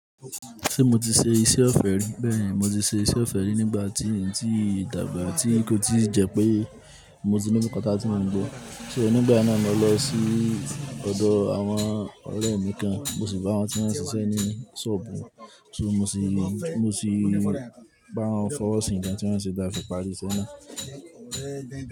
Ṣé mo ti ṣe iṣẹ́ ọ̀fẹ́ rí? Bẹ́ẹ̀ni, mo ti ṣe iṣẹ́ ọ̀fẹ́ rí nígbà tí, ntí dàgbà, tí nì kó tí jẹ pé mo ti ní kátá tí màá gbọ́. So nígbà náà máa lọ sí ọ̀dọ̀ àwọn ọ̀rẹ́ mi kan, mo sì bá wọn tí wọn ń ṣiṣẹ́ ní ṣọ́ọ̀bù, ṣó mo sì, mo sì bá wọn fọwọ́ sí nǹkan tí wọ́n sì dá fìfààrí sẹ́na.